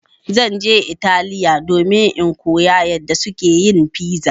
Zan je Italiya domin in koya yadda suke yin piza.